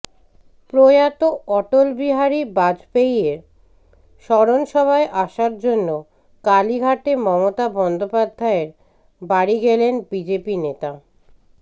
প্রয়াত অটলবিহারী বাজপেয়ীর স্মরণসভায় আসার জন্য কালীঘাটে মমতা বন্দ্যোপাধ্যায়ের বাড়ি গেলেন বিজেপি নেতা